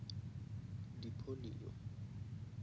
di polio